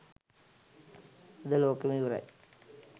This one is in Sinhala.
අද ලෝකෙම ඉවරයි.